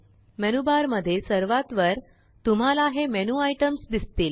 menu बारमध्ये सर्वात वर तुम्हाला हे मेनू आईटम्स दिसतील